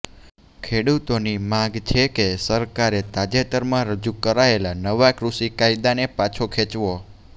ખેડુતોની માંગ છે કે સરકારે તાજેતરમાં રજૂ કરાયેલા નવા કૃષિ કાયદાને પાછો ખેંચવો